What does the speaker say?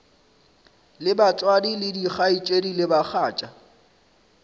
le batswadi dikgaetšedi le bagatša